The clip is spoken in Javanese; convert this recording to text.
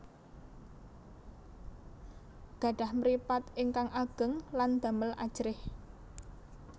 Gadhah mripat ingkang ageng lan damel ajrih